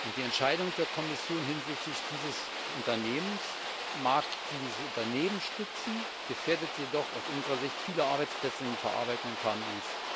Die Entscheidung der Kommission hinsichtlich dieses Unternehmens mag dieses Unternehmen stützen, gefährdet jedoch aus unserer Sicht viele Arbeitsplätze in den verarbeitenden KMU.